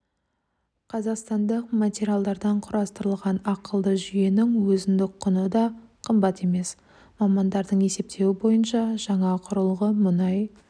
қазақстандық материалдардан құрастырылған ақылды жүйенің өзіндік құны да қымбат емес мамандардың есептеуі бойынша жаңа құрылғы мұнай